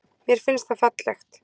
Mér finnst það fallegt.